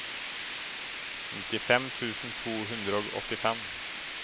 nittifem tusen to hundre og åttifem